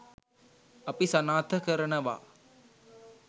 අපි සනාථ කරනවා.